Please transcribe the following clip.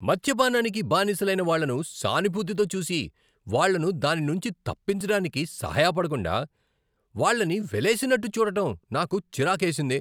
మద్యపానానికి బానిసలైన వాళ్ళను సానుభూతితో చూసి వాళ్ళను దాని నుంచి తప్పించడానికి సహాయపడకుండా, వాళ్ళని వెలేసినట్టు చూడడం నాకు చిరాకేసింది.